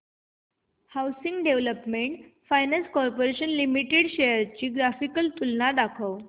housing development finance corporation limited shares ची graphical तुलना दाखव